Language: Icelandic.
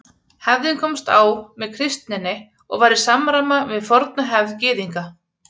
Hefðin komst á með kristninni og var í samræma við forna hefð Gyðinga.